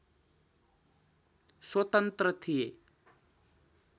स्वतन्त्र थिए